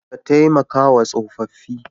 Ka taimakawa tsofaffi.